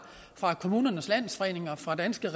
kommunernes landsforenings og fra danske